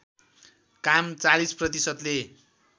काम ४० प्रतिशतले